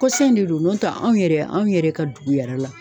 Kɔsan in de don n'o tɛ anw yɛrɛ anw yɛrɛ ka dugu yɛrɛ la